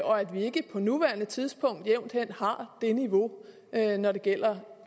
og at vi ikke på nuværende tidspunkt jævnt hen har det niveau når det gælder